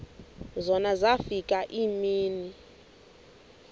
zona zafika iimini